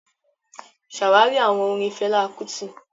Ṣàwárí àwọn orin Fẹlá Kútì